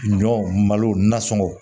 Ɲɔ malo nasɔŋɔw